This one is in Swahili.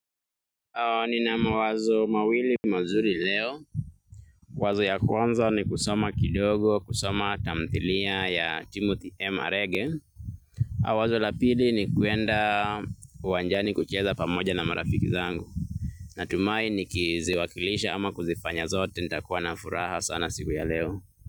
Nina mawazo mawili mazuri leo. Wazo ya kwanza ni kusoma kidogo, kusoma tamthilia ya Timothy M. Arege. Wazo la pili ni kuenda uwanjani kucheza pamoja na marafiki wangu. Natumai nikiziwakilisha ama kuzifanya zote nitakuwa na furaha sana siku ya leo.